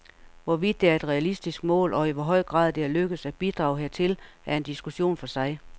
Hvorvidt det er et realistisk mål, og i hvor høj grad det er lykkedes at bidrage hertil, er en diskussion for sig.